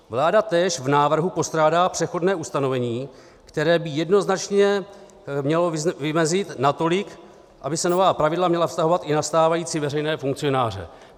Vláda též v návrhu postrádá přechodné ustanovení, které by jednoznačně mělo vymezit, natolik by se nová pravidla měla vztahovat i na stávající veřejné funkcionáře."